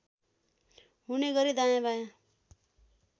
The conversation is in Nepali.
हुने गरी दायाँबायाँ